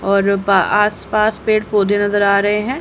और बा आसपास पेड़ पौधे नजर आ रहे हैं।